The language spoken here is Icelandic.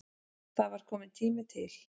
Það var kominn tími til.